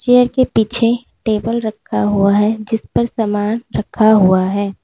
Chair के पीछे table रखा हुआ है जिस पर सामान रखा हुआ है।